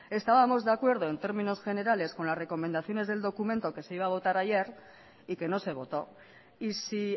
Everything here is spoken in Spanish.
estábamos de acuerdo en términos generales con las recomendaciones del documento que se iba a votar ayer y que no se votó y si